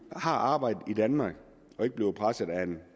har arbejde i danmark og ikke bliver presset af en